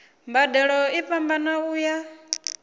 mbadelo i fhambana u ya